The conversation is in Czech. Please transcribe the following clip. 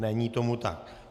Není tomu tak.